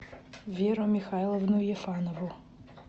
веру михайловну ефанову